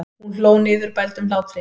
Hún hló niðurbældum hlátri.